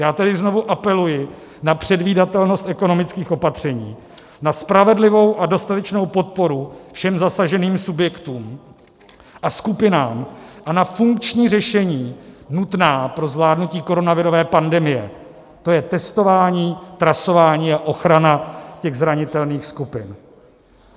Já tedy znovu apeluji na předvídatelnost ekonomických opatření, na spravedlivou a dostatečnou podporu všem zasaženým subjektům a skupinám a na funkční řešení nutná pro zvládnutí koronavirové pandemie, to je testování, trasování a ochrana těch zranitelných skupin.